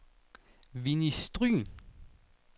Winni Stryhn